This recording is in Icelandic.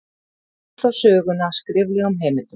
Víkur þá sögunni að skriflegum heimildum.